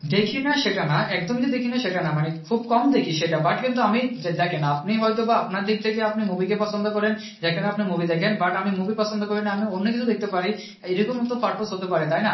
দেখি না সেটা না একদমই যে দেখি না সেটা না, মানে খুব কম দেখি সেটা but কিন্তু আমি দেখেন আপনি হয়তো বা আপনার দিক থেকে আপনি movie কে পছন্দ করেন, যেখানে আপনি movie দেখেন but আমি movie পছন্দ করি না, আমি অন্যকিছু দেখতে পার, এইরকম তো purpose হতে পারে, তাই না?